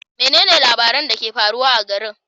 Menene labaran da ke faruwa a garin?